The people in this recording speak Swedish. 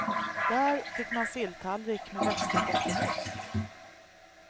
Där fick man silltallrik med västerbottenost.